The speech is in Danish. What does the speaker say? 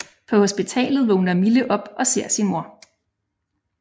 På hospitalet vågner Mille op og ser sin mor